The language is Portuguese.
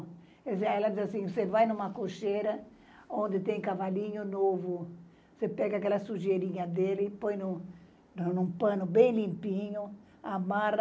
Ela disse assim, você vai numa cocheira onde tem cavalinho novo, você pega aquela sujeirinha dele e põe num pano bem limpinho, amarra,